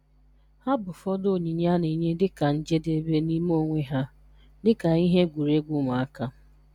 Ha bụ ụfọdụ onyinye a na-enye dị ka njedebe n'ime onwe ha, dị ka ihe egwuregwu ụmụaka.